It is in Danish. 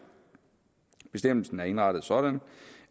bestemmelsen er indrettet sådan